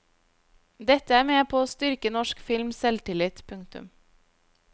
Dette er med på å styrke norsk films selvtillit. punktum